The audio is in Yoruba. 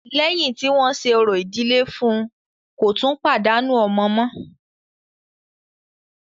Lẹ́yìn tí wọ́n ṣe orò ìdílé fún ùn, kò tún pàdánù ọmọ mọ́.